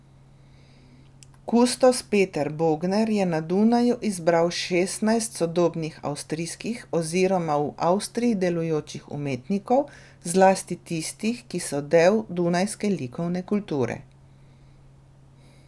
Kustos Peter Bogner je na Dunaju izbral šestnajst sodobnih avstrijskih oziroma v Avstriji delujočih umetnikov, zlasti tistih, ki so del dunajske likovne kulture.